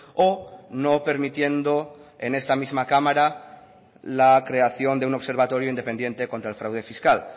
o no permitiendo en esta misma cámara la creación de un observatorio independiente contra el fraude fiscal